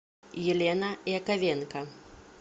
елена яковенко